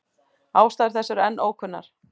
Ástæður þess eru enn ókunnar.